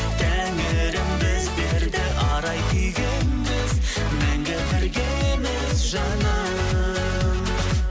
тәңірім біздерді арай күйге енгіз мәңгі біргеміз жаным